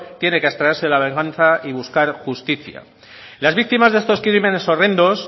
tiene que abstraerse de la venganza y buscar justicia las víctimas de estos crímenes horrendos